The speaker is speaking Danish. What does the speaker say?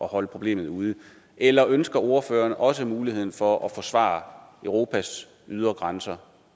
holde problemet ude eller ønsker ordføreren også at bruge muligheden for at forsvare europas ydre grænser